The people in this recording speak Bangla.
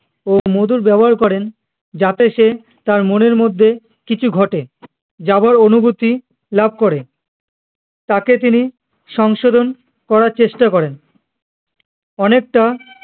ও মধুর ব্যবহার করেন যাতে সে তার মনের মধ্যে কিছু ঘটে যাবার অনুভূতি লাভ করে তাকে তিনি সংশোধন করার চেষ্টা করেন অনেকটা